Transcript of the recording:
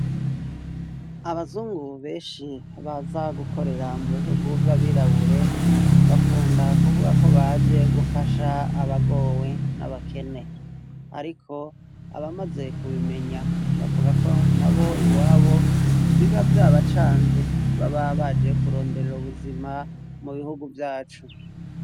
Abazungu benshi baza gukorera mu bihugu vy'abirabure bakunda kuvuga ko baje gufasha abagowe n'abakene, ariko abamaze kubimenya bavuga ko na bo iwabo biba vyabacanze baba baje kuronderera ubuzima mu bihugu vyacu.